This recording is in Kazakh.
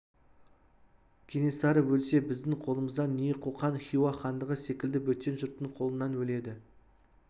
кенесары өлсе біздің қолымыздан не қоқан хиуа хандығы секілді бөтен жұрттың қолынан өледі